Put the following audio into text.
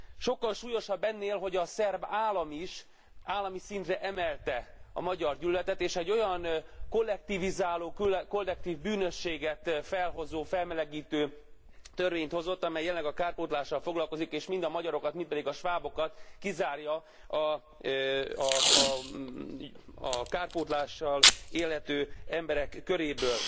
Sokkal súlyosabb ennél, hogy a szerb állam is állami szintre emelte a magyargyűlöletet és egy olyan kollektivizáló, kollektív bűnösséget felhozó, felmelegítő törvényt hozott, amely jelenleg a kárpótlással foglalkozik, és mind a magyarokat, mind pedig a svábokat kizárja a kárpótlással élhető emberek köréből.